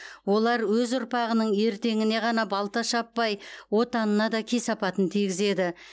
олар өз ұрпағының ертеңіне ғана балта шаппай отанына да кесапатын тигізеді